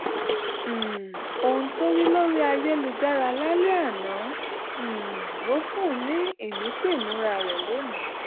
um ohun tó rí lórí ayélujára lálẹ́ àná um ló fún un ní ìmísí ìmúra rẹ̀ lónìí